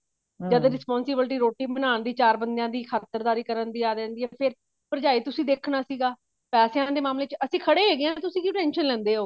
ਜਦੋਂ responsibility ਰੋਟੀ ਬਣਾਉਣ ਦੀ ਚਾਰ ਬੰਦਿਆ ਦੀ ਖਾਤਰਦਾਰੀ ਕਰਨ ਦੀ ਆ ਜਾਂਦੀ ਆ ਫ਼ੇਰ ਭਰਜਾਈ ਤੁਸੀਂ ਦੇਖਣਾ ਸੀਗਾ ਪੈਸਿਆਂ ਦੇ ਮਾਮਲੇ ਚ ਅਸੀਂ ਖੜੇ ਹੈਗੇ ਹਾਂ ਤੁਸੀਂ ਕਿਉਂ tension ਲੈਂਦੇ ਹੋ